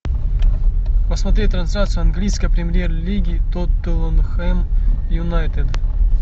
посмотреть трансляцию английской премьер лиги тоттенхэм юнайтед